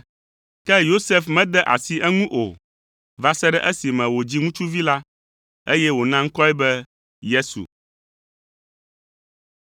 Ke Yosef mede asi eŋu o, va se ɖe esime wòdzi viŋutsuvi la, eye wòna ŋkɔe be Yesu.